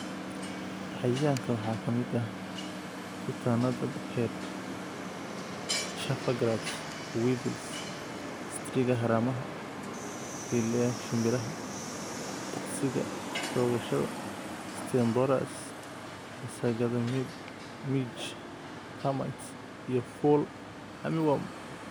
"Cayayaanka waxaa ka mid ah kutaannada Head, Chafer grubs, Weevils, Striga haramaha, quelea shimbiraha, dukhsiga toogashada, stem borers, masagada midge, termites iyo Fall Armyworm."